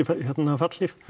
fallhlíf